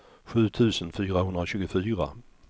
sju tusen fyrahundratjugofyra